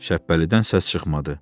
Şəhbəlidən səs çıxmadı.